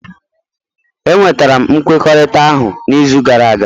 Enwetara m nkwekọrịta ahụ n'izu gara aga